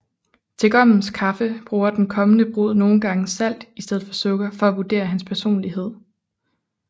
Til gommens kaffe bruger den kommende brud nogle gange salt i stedet for sukker for at vurdere hans personlighed